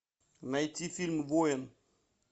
найти фильм воин